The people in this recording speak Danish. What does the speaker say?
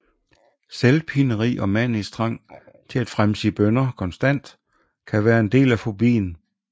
Selvpineri og manisk trang til at fremsige bønner konstant kan være en del af fobien